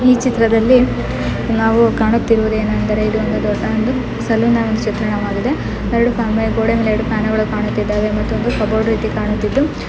ಈ ಚಿತ್ರದಲ್ಲಿ ನಾವು ಕಾಣುತ್ತಿರುವುದೀನು ಅಂದ್ರೆ ಇದು ಒಂದು ಸಲೂನ್ ನ ಚಿತ್ರಣ ವಾಗಿದೆ. ಎರಡು ಗೋಡೆ ಮೇಲೆ ಫ್ಯಾನ್ ಗಳು ಕಾಣುತ್ತಿದ್ದಾವೆ ಮತ್ತೊಂದು ಕಬೋರ್ಡ್ ಇದೆ ಕಾಣುತ್ತಿದ್ದು .